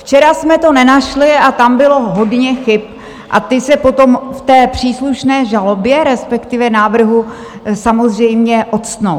Včera jsme to nenašli a tam bylo hodně chyb a ty se potom v té příslušné žalobě, respektive návrhu, samozřejmě ocitnou.